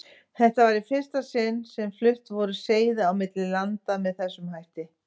Þetta var í fyrsta sinni sem flutt voru seiði á milli landa með þessum hætti.